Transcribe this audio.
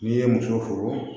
N'i ye muso furu